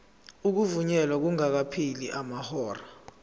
ukuvunyelwa kungakapheli amahora